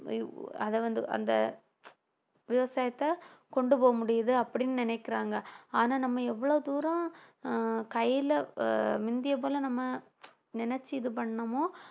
அதை வந்து அந்த விவசாயத்தை கொண்டு போக முடியுது அப்படின்னு நினைக்கிறாங்க ஆனா நம்ம எவ்வளவு தூரம் ஆஹ் கையில ஆஹ் முந்திய போல நம்ம நினைச்சு இது பண்ணமோ